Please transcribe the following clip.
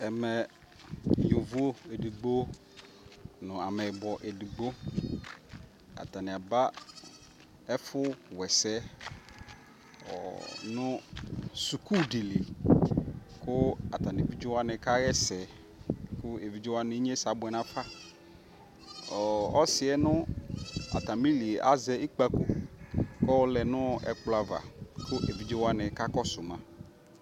Ɛmɛ yovo edigbo nʋ amɛyibɔ edigbo atani aba ɛfʋ wɛsɛ, ɔ, nʋ suku di li, kʋ atani nʋ evidze wani kaɣɛsɛ, kʋ evidze wani inysɛ abʋɛ nafa Ɔsi ɛ nʋ atami li yɛ azɛ ikpako kʋ ayɔlɛ nʋ ɛkplɔ ava, kʋ ɛvidze wani kakɔsʋ ma